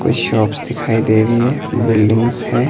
कुछ शॉप्स दिखाई दे रही है बिल्डिंग्स हैं।